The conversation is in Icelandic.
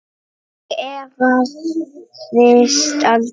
Ég efaðist aldrei.